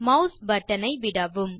mass button ஐ விடவும்